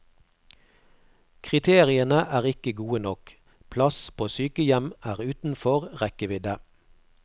Kriteriene er ikke gode nok, plass på sykehjem er utenfor rekkevidde.